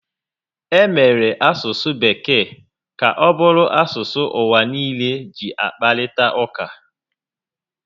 E meela asụsụ Bekee ka ọ bụrụ asụsụ ụwà nille ji akparịta ụka